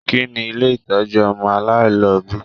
Kínní ilé ìtọjú ọmọ aláìlobi?